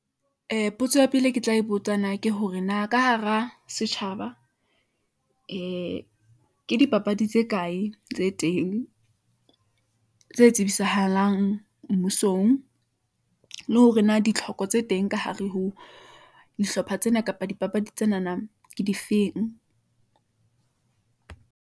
Ee potso ya pele, e ke tla e botsana ke hore na ka hara setjhaba ee ke dipapadi tse kae tse teng , tse tsebisahalang mmusong , le hore na ditlhoko tse teng ka hare ho dihlopha tsena, kapa dipapadi tsenana ke difeng.